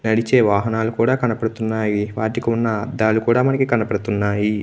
నడిచే వాహనాలు కూడా కనబడుతున్నాయి. వాటికి ఉన్న అద్దాలు కూడా మనకు కనబడుతున్నాయి.